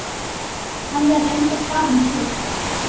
Hann er reyndar farinn til